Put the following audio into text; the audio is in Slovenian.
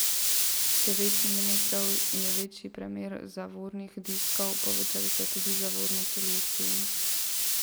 Devet milimetrov je večji premer zavornih diskov, povečali so tudi zavorne čeljusti.